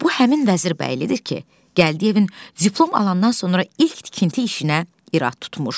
Bu həmin Vəzirbəylidir ki, Gəldiyevin diplom alandan sonra ilk tikinti işinə irad tutmuşdu.